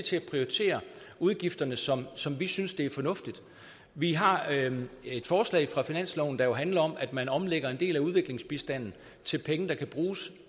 til at prioritere udgifterne som som vi synes det er fornuftigt vi har et forslag fra finansloven der jo handler om at man omlægger en del af udviklingsbistanden til penge der kan bruges